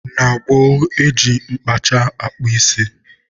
Na gboo, e ji mkpacha akpụ isi.